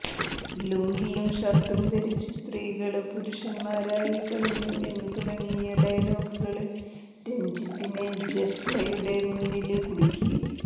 ലുങ്കിയും ഷര്ട്ടും ധരിച്ച് സ്ത്രീകള് പുരുഷന്മാരായി കഴിഞ്ഞു എന്നുതുടങ്ങിയ ഡയലോഗുകള് രജിത്തിനെ ജസ്ലയുടെ മുന്നില് കുടുക്കി